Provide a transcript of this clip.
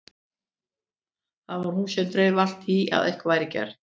Það var hún sem dreif alltaf í að eitthvað væri gert.